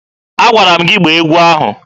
Agwara m gị gbaa egwu ahụ!